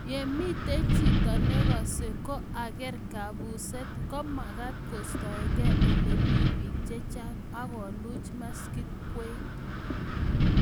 ye mito chito ne kosei ko ang'er kombus ko mekat koistoegei ole mi biik che chang' akulach maskit kwekeny